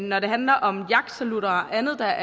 når det handler om jagtsalutter og andet der